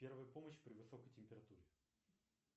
первая помощь при высокой температуре